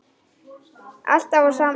Alltaf á sama stað.